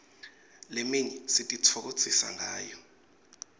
leminye sititfokotisa ngayo